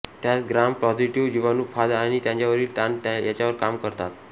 त्या gram positive जीवाणू phage आणि त्यांच्यावरील ताण याच्यावर काम करतात